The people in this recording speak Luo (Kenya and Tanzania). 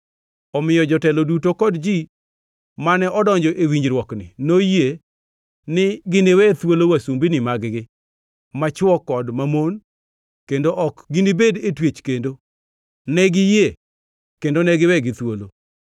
Omiyo jotelo duto kod ji mane odonjo e winjruokni noyie ni giniwe thuolo wasumbini mag-gi machwo kod mamon kendo ok ginibed e twech kendo. Ne giyie, kendo ne giwegi thuolo.